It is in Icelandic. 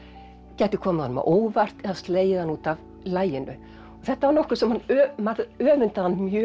gæti komið honum á óvart eða slegið hann út af laginu og þetta var nokkuð sem maður öfundaði hann mjög